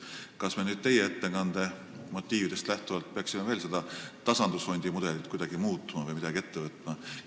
Kas me teie ettekande motiividest lähtuvalt peaksime seda tasandusfondi mudelit veel muutma või midagi ette võtma?